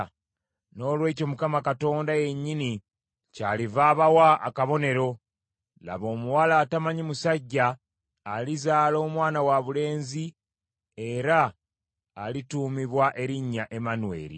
Noolwekyo Mukama yennyini kyaliva abawa akabonero; laba omuwala atamanyi musajja alizaala omwana wabulenzi era alituumibwa erinnya Emmanweri.